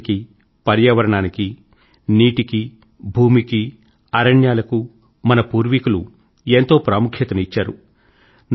ప్రకృతికీ పర్యావరణానికీ నీటికీ భూమికీ అరణ్యాలకూ మన పూర్వీకులు ఎంతో ప్రాముఖ్యతను ఇచ్చారు